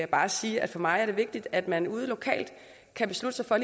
bare sige at for mig er det vigtigt at man ude lokalt kan beslutte sig for at